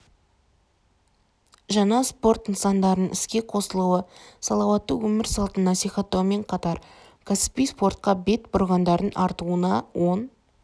жаңа спорт нысандарының іске қосылуы салауатты өмір салтын насихаттаумен қатар кәсіби спортқа бет бұрғандардың артуына оң